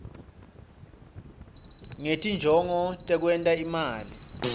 ngetinjongo tekwenta imali